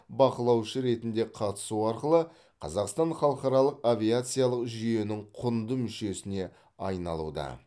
бақылаушы ретінде қатысу арқылы қазақстан халықаралық авиациялық жүйенің құнды мүшесіне айналуда